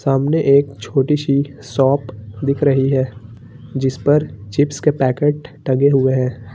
सामने एक छोटी सी शॉप दिख रही है जिस पर चिप्स के पैकेट टंगे हुए हैं।